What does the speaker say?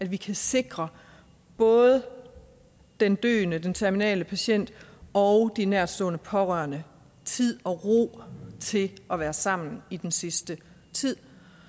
vi kan sikre både den døende den terminale patient og de nærtstående pårørende tid og ro til at være sammen i den sidste tid